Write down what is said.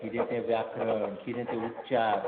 कितें तें व्याकरण, कितें ते उच्चार...